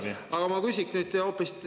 Aga ma küsiks nüüd hoopis nii.